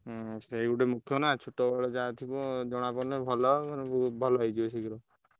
ହୁଁ ସେଇ ଗୋଟେ ମୁଖ୍ୟ ନାଁ ଛୋଟ ବେଲେ ଯାହା ଥିବ ଜଣା ପଡ଼ିଲେ ଭଲ ମାନେ ଓହୁତ ଭଲ ହେଇଯିବେ ଶୀଘ୍ର।